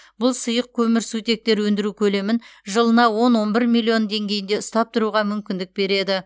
бұл сұйық көмірсутектер өндіру көлемін жылына он он бір миллион деңгейінде ұстап тұруға мүмкіндік береді